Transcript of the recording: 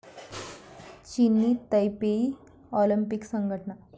चीनी Taipei Olympic संघटना